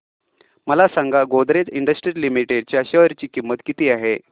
मला सांगा Godrej industries limited च्या शेअर ची किंमत किती आहे